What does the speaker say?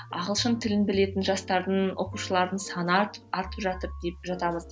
ағылшын тілін білетін жастардың оқушылардың саны артып артып жатыр деп жатамыз